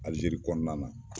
Alijeri kɔnɔna na.